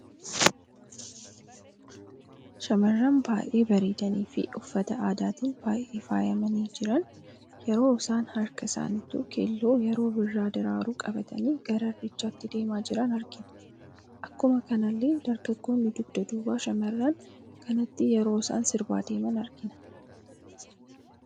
Shamarran baay'ee bareedanii fi uffata aadaatin baay'ee faayamani jiran, yeroo isaan harkaa isaanittu keelloo yeroo birraa daraaruu qabatani gara irreechatti deema jiran argina. Akkuma kanalle dargaggoonni dugda duubaa shamarraan kanaatin yeroo isaan sirba deeman argina.